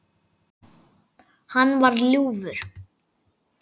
Hann var ljúfur.